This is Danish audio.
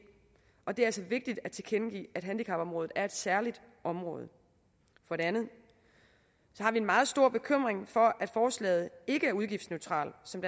og det er altså vigtigt at tilkendegive at handicapområdet er et særligt område for det andet har vi en meget stor bekymring for at forslaget ikke er udgiftsneutralt som